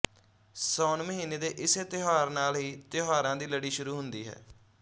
ਸਾਉਣ ਮਹੀਨੇ ਦੇ ਇਸੇ ਤਿਉਹਾਰ ਨਾਲ ਹੀ ਤਿਉਹਾਰਾਂ ਦੀ ਲੜੀ ਸ਼ੁਰੂ ਹੁੰਦੀ ਹੈ